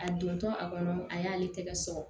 A dontɔ a kɔnɔ a y'ale tɛgɛ sɔrɔ